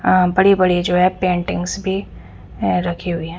अ बड़े बड़े जो है पेंटिंग्स भी रखे हुए हैं।